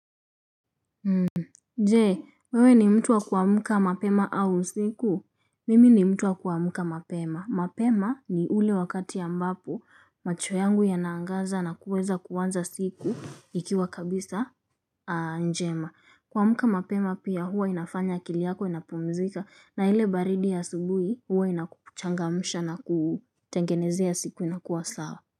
Je, wewe ni mtu wa kuamka mapema au siku. Mimi ni mtu wa kuamka mapema mapema ni ule wakati ambapo macho yangu ya naangaza na kuweza kuanza siku ikiwa kabisa njema kuamka mapema pia huwa inafanya akili yako inapumzika na ile baridi ya asubuhi huwa inakuchangamusha na kutengenezea siku inakua sawa.